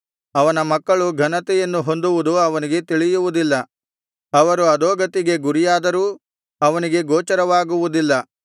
ಅವನ ಮಕ್ಕಳು ಘನತೆಯನ್ನು ಹೊಂದುವುದು ಅವನಿಗೆ ತಿಳಿಯುವುದಿಲ್ಲ ಅವರು ಅಧೋಗತಿಗೆ ಗುರಿಯಾದರೂ ಅವನಿಗೆ ಗೋಚರವಾಗುವುದಿಲ್ಲ